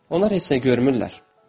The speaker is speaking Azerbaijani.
Onlar heç nə görmürlər.